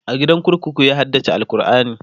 a gidan kurkuku ya haddace alQurani